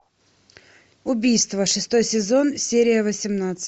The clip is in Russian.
убийство шестой сезон серия восемнадцать